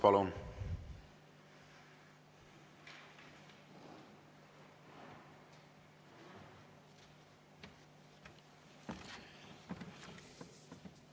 Palun!